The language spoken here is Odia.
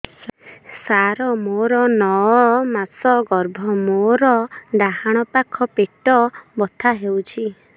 ସାର ମୋର ନଅ ମାସ ଗର୍ଭ ମୋର ଡାହାଣ ପାଖ ପେଟ ବଥା ହେଉଛି